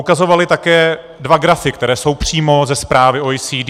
Ukazovali také dva grafy, které jsou přímo ze zprávy OECD.